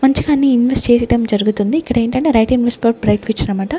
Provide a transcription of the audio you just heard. మంచి గానే ఇన్వెస్ట్ చేసడం జరుగుతుంది ఇక్కడ ఏంటంటే right invest for bright future అన్నమాట.